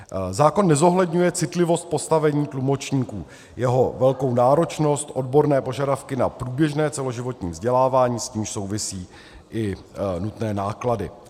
Zákon nezohledňuje citlivost postavení tlumočníků, jeho velkou náročnost, odborné požadavky na průběžné celoživotní vzdělávání, s nímž souvisí i nutné náklady.